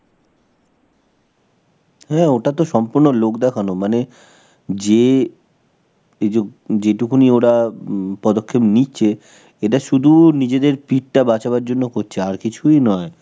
হ্যাঁ ওটা তো সম্পূর্ণ লোক দেখানো, মানে যে এইজো যেটুকুনি ওরা হমম পদক্ষেপ নিচ্ছে, এটা শুধু নিজেদের পিঠটা বাঁচাবার জন্য করছে, আর কিছুই নয়.